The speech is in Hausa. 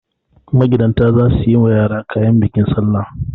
Magidanta za su yi wa yara kayan bikin salla.